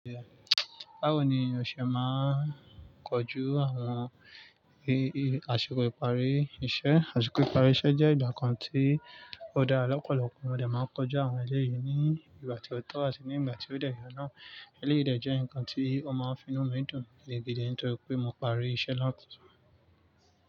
Báwo ni ose máa ń kọjú àwọn i-i àsìkò ìparí iṣẹ́? Àsìkò ìparí iṣẹ́ jẹ́ ìgbà kan tí ó dá lọ́pọ̀lọpọ̀ mo dẹ máa ń kojú àwọn ẹlẹ́yìí ní ìgbà tí ó tọ́ àti ní ìgbà tí ó dẹ́yẹ náà. Eleyìí dẹ jẹ́ nǹkan tí ó máa ń fi inú mi dùn gidigidi nítorí pé mo parí iṣẹ́ náà tán.